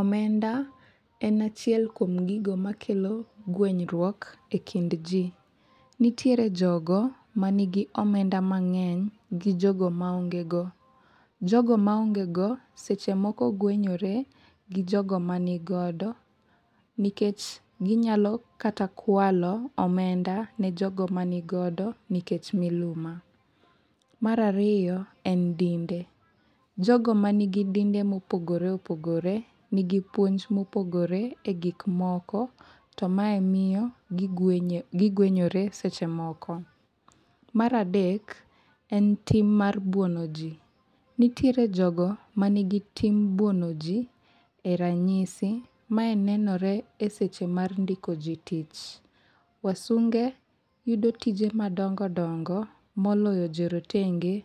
Omenda en achiel kuom gigo makelo guenyruok e kind ji. Nitiere jogo ma nigi omenda mang'eny gi jogo ma ong'e go. Jogo ma onge go, seche moko guenyore gi jogo ma ni godo. Nikech ginyalo kata kwalo omenda ne jogo ma nigodo nikech miluma. Mar ariyo, en dinde. Jogo ma nigi dinde mopogore opogore, nigi puonj mopogore e gik moko. To mae miyo giguenyore seche moko. Mar adek, en tim mar buono ji. Nitiere jogo ma nigi tim buono ji e ranyisi. Ma e nenore e seche mar ndiko ji tich. Wasunge yudo tije madongo dongo moloyo jo rotenge